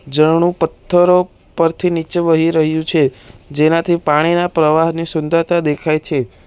ઝરણું પથ્થરો પરથી નીચે વહી રહ્યું છે જેનાથી પાણીના પ્રવાહની સુંદરતા દેખાય છે.